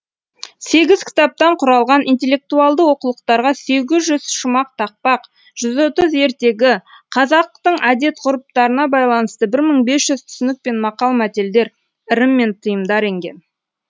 сегіз кітаптан құралған интеллектуалды оқулықтарға сегіз жүз шумақ тақпақ жүз отыз ертегі қазақтың әдет ғұрыптарына байланысты бір мың бес жүз түсінік пен мақал мәтелдер ырым мен тыйымдар енген